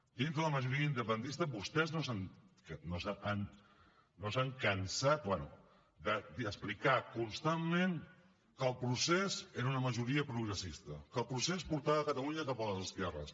dins de la majoria independentista vostès no s’han cansat bé d’explicar constantment que el procés era una majoria progressista que el procés portava catalunya cap a les esquerres